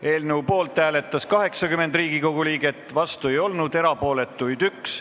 Hääletustulemused Poolt hääletas 80 Riigikogu liiget, vastu ei olnud keegi, erapooletuks jäi 1.